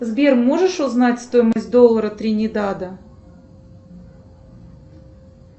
сбер можешь узнать стоимость доллара тринидада